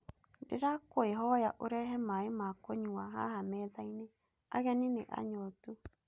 Ndĩrakũĩhoya ũrehe maaĩ ma kũnyua haha metha-inĩ. Ageni nĩ anyotu.